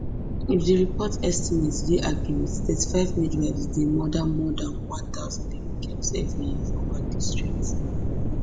if di report estimates dey accurate thirty-five midwives dey murder more dan one thousand baby girls evri year for one district